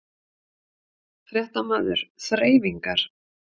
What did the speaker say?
Fréttamaður: Þreifingar?